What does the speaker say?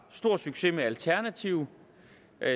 stor succes med alternative